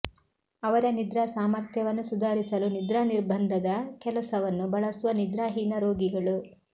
ಅವರ ನಿದ್ರಾ ಸಾಮರ್ಥ್ಯವನ್ನು ಸುಧಾರಿಸಲು ನಿದ್ರಾ ನಿರ್ಬಂಧದ ಕೆಲಸವನ್ನು ಬಳಸುವ ನಿದ್ರಾಹೀನ ರೋಗಿಗಳು